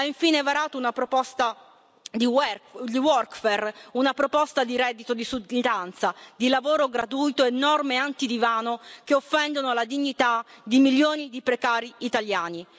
Ha infine varato una proposta di workfare una proposta di reddito di sudditanza, di lavoro gratuito e norme anti divano che offendono la dignità di milioni di precari italiani.